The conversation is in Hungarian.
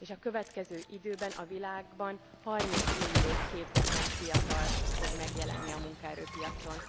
És a következő időben a világban 30 millió képzetlen fiatal fog megjelenni a munkaerőpiacon.